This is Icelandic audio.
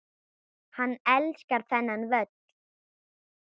Hann elskar þennan völl.